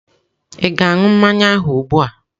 Ị ga-aṅụ mmanya ahụ ugbu a?